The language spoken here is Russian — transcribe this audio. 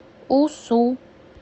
усу